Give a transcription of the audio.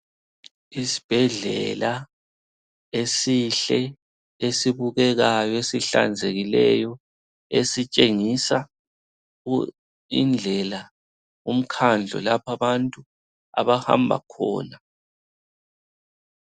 Isibhedlela esihle esibukekayo, esihlanzekileyo esitshengisa indlela, umkhandlo lapha abantu abahamba khona.